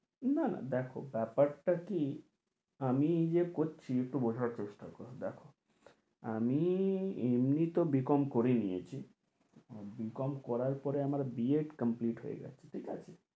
না না দেখো ব্যাপারটা কী, আমি এই যে করছি একটু বোঝার চেষ্টা কর, দেখো আমি এমনি তো বি কম করে নিয়েছি আর বি কম করার পরে আমার বি এড হয়ে গেছে ঠিক আছে